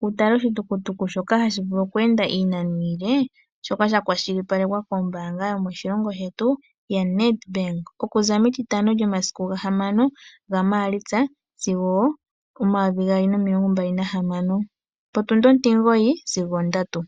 wu tale oshitukutuku shoka hashi vulu kweenda iinano iile, shoka sha kwashilipalekwa kombaanga yomoshilongo shetu ya NedBank. Okuza metitano lyomasiku gahamano gaMaalitsa omayovi gaali nomilonga hamano, potundi ontimugoyi sigo ondatu.